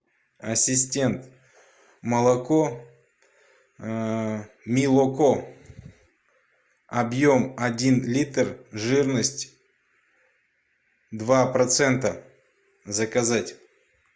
ассистент молоко милоко объем один литр жирность два процента заказать